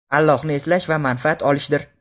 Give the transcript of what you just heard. Allohni eslash va manfaat olishdir.